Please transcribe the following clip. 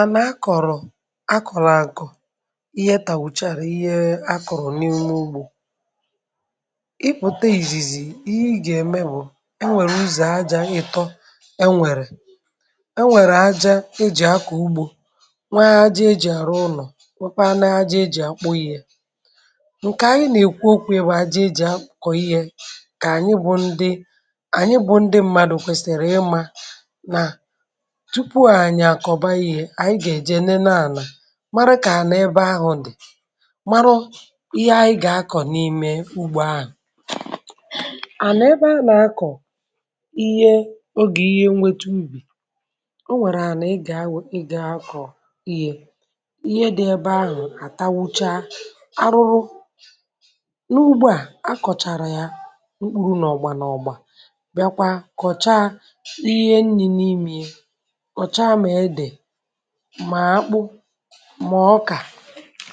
Àna akọ̀rọ̀ akọ̀rọ̀ àkọ̀ ihe tàgwùchàrà ihe akọ̀rọ̀ n’ime ugbo, ipùte ìzìzì ihe ị gà-ème bụ̀ e nwèrè ụzọ̀ ajȧ ị̀tọ e nwèrè. E nwèrè aja e jị̀ akọ̀ ugbo, nwee aja ejì àrụ ụnọ̀ nwekwa nà ajị ejì akpụ ihe. Nkè ànyị nà-èkwu okwụ ya bụ̀ ajị ejì akọ ihe kà ànyị bụ ndị ànyị bụ ndị mmadụ̀ kwèsìrì ịma nà túpú anyị akọba ihe anyị ga-eje nenee ana mara kà ànà ebe ahụ̀ dì mara ihe anyị gà-akọ̀ n’ime ugbo ahụ̀. Anà ebe a nà-akọ̀ ihe ogè ihe nwete ụbì o nwèrè ànà ị gà- um ị gà-akọ̀ ihe, ihe dị ebe ahụ̀ àtawụchaa arụrụ. N’ugbo à a kọ̀chàrà ya n’ukpuru n’ọ̀gbà n’ọ̀gbà bịa kwa kọ̀cha n’ihe nni̇ n’imiye. Kọchaa ma ede, ma ákpụ, mà ọkà,